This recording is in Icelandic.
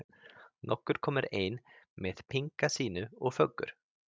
Nokkur komu ein með pinkla sína og föggur.